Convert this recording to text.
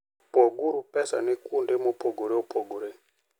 Poguru pesane kuonde mopogore opogore.